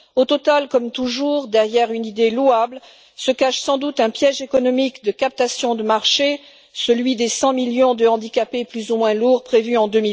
Au total, comme toujours, derrière une idée louable, se cache sans doute un piège économique de captation de marché, celui des 100 millions de handicapés plus ou moins lourds prévus en